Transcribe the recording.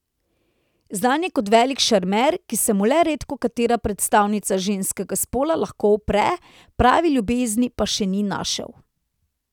Znan je kot velik šarmer, ki se mu le redkokatera predstavnica ženskega spola lahko upre, prave ljubezni pa še ni našel.